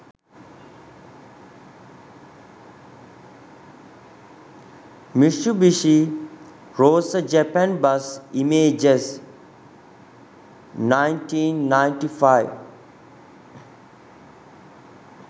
mitsubishi rosa japan bus images 1995